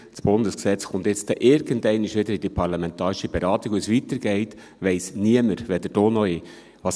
Das Bundesgesetz wird nun irgendwann einmal wieder in die parlamentarische Beratung kommen, und wie es weitergeht, weiss niemand, weder du noch ich.